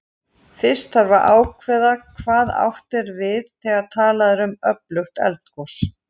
Fyrst þarf að ákveða hvað átt er við þegar talað er um öflugt eldgos.